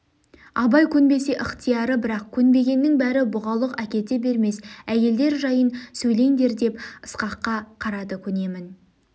абай көнбесе ықтияры бірақ көнбегеннің бәрі бұғалық әкете бермес әйелдер жайын сөйлендер деп ысқаққа қарады көнемін